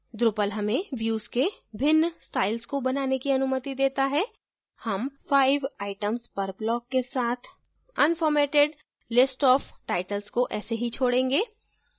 drupal हमें views के भिन्न styles को बनाने की अनुमति देता है हम 5 items per block के साथ unformatted list of titles को ऐसे ही छोडेंगे